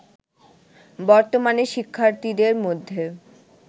বর্তমানে শিক্ষার্থীদের মধ্যে